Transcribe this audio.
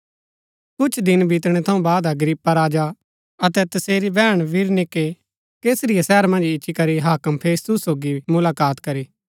कुछ दिन बितणै थऊँ बाद अग्रिप्पा राजा अतै तसेरी बैहण बिरनीके कैसरिया शहर मन्ज इच्ची करी हाक्म फेस्तुस सोगी मुलाकात करी